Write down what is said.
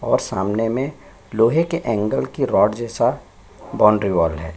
और सामने में लोहै के एंगल के रॉड जैसा बाउंड्री वॉल है।